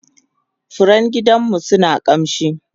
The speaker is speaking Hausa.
furen gidanmu suna kamshi